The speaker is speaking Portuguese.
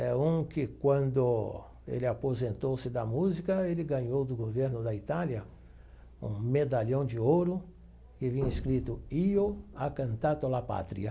É um que, quando ele aposentou-se da música, ele ganhou do governo da Itália um medalhão de ouro que vinha escrito, io a cantato la patria.